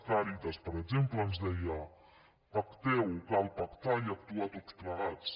càritas per exemple ens deia pacteu cal pactar i actuar tots plegats